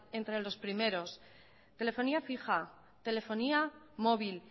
entre los primeros telefonía fija telefonía móvil